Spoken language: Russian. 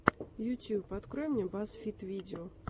ютуб открой мне баз фид видео